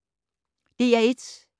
DR1